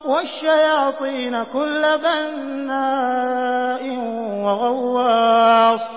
وَالشَّيَاطِينَ كُلَّ بَنَّاءٍ وَغَوَّاصٍ